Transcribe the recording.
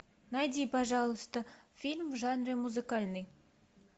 найди пожалуйста фильм в жанре музыкальный